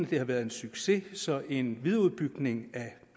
det har været en succes så en videreudbygning af